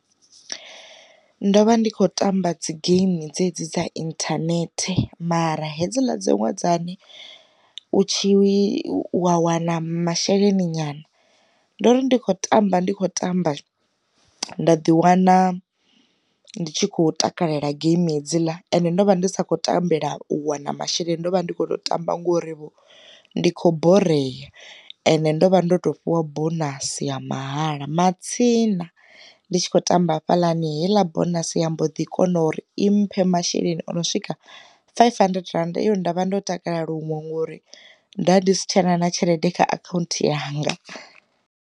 Ndo vha ndi kho tamba dzi geimi dzedzi dza inthanethe mara hedzila dziṅwe dzane, u tshi wa wana masheleni nyana, ndo ri ndi kho tamba ndi kho tamba nda ḓi wana ndi tshi kho takalela geimi hedzila ende ndo vha ndi sa kho tambela u wana masheleni ndo vha ndi kho tamba ngori ndi khou borea ende ndo vha ndo to fhiwa bonasi ha mahala. Matsina ndi tshi khou tamba hafhaḽani heiḽa bonasi yambo ḓi kona uri i mphe masheleni o no swika five hundred rand yo nda vha ndo takala luṅwe ngori nda ndi si tshena na tshelede kha akhaunthu ya hanga.